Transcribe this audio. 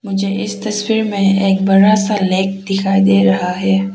मुझे इस तस्वीर में एक बड़ा सा लेग दिखाई दे रहा है।